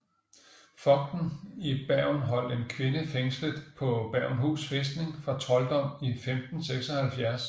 Fogden i Bergen holdt en kvinde fængslet på Bergenhus fæstning for trolddom i 1576